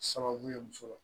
Sababu ye muso